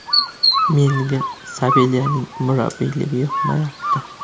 Menga Sabelyaning murabbiyligi yoqmayapti.